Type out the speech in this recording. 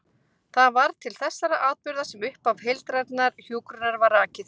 Það var til þessara atburða sem upphaf heildrænnar hjúkrunar var rakið.